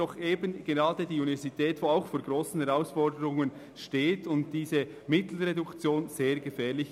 Aus diesem Grund ist eine Reduktion der Mittel sehr gefährlich.